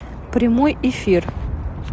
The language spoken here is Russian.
прямой эфир